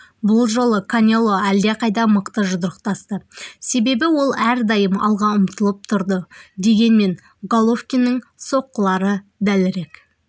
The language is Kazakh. бұл жолы канело әлдеқайда мықты жұдырықтасты себебі ол әрдайым алға ұмтылып тұрды дегенмен головкиннің соққылары дәлірек